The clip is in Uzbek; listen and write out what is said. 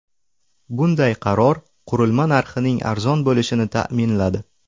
Bunday qaror qurilma narxining arzon bo‘lishini ta’minladi.